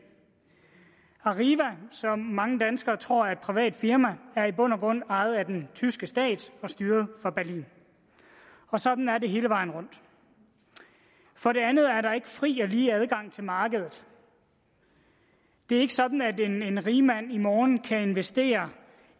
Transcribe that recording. arriva som mange danskere tror er et privat firma er i bund og grund ejet af den tyske stat og styret fra berlin og sådan er det hele vejen rundt for det andet er der ikke fri og lige adgang til markedet det er ikke sådan at en rigmand i morgen kan investere